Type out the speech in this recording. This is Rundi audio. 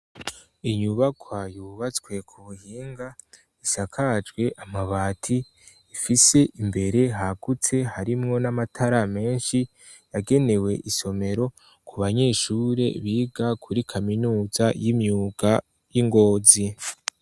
Inyubakwa yubatswe ku buhinga isakajwe amabati ifise imbere hagutse harimwo n'amatara menshi, yagenewe isomero ku banyeshure biga kuri kaminuza y'imyuka y' I Ngozi.